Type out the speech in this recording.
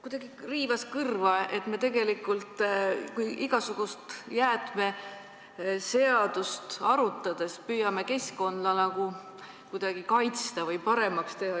Kuidagi riivas kõrva, et me tegelikult igasugust jäätmeseadust muutes püüame keskkonda nagu kuidagi kaitsta või paremaks teha.